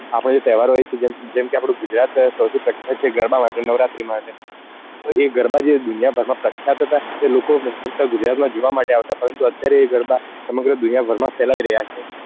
આપડા જે તહેવાર હોય છે જેમ કે આપડું ગુજરાત સૌથી પ્રખ્યાત છે ગરબા માટે નવરાત્રી માટે તો એ ગરબા જે દુનિયા ભર માં પ્રખ્યાત હતા એ લોકો ફક્ત ગુજરાત માં જોવા માટે આવતા પરંતુ અત્યારે એ ગરબા સમગ્ર દુનિયા ભર માં ફેલાઈ રહ્યા છે